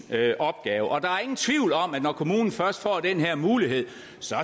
opgave der er ingen tvivl om at når kommunen først får den her mulighed